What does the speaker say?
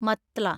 മത്ല